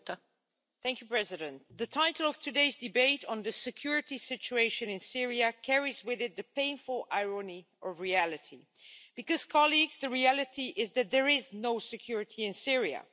Madam President, the title of today's debate on the security situation in Syria carries with it the painful irony of reality because, colleagues, the reality is that there is no security in Syria.